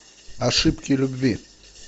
ошибки любви